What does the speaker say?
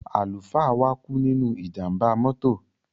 Àlùfáà wa kú nínú ìjàmbá mọ́tò.